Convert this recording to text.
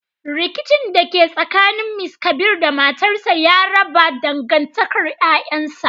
Rikicin da ke tsakanin Mr kabir da matarsa ya raba dangantakar 'ƴa'ƴansa.